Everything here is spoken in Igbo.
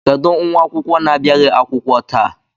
Kedụ nwa akwụkwọ na-abịaghị akwụkwọ taa?